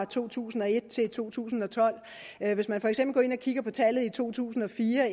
to tusind og et til to tusind og tolv hvis man for eksempel går ind og kigger på tallet fra to tusind og fire